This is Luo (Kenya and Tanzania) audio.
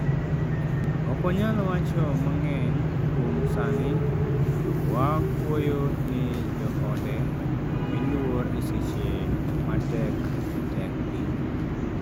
"Ok wanyal wacho mang'eny kuom sani to wakuoyo ni joode omiluor e seche ma tek tek gi.